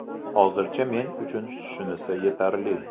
Hozircha men uchun shunisi yetarli.